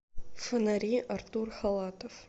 фонари артур халатов